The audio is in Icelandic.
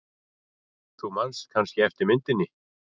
Þú manst kannski eftir myndinni.